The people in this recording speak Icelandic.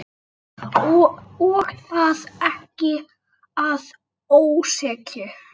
Og það ekki að ósekju.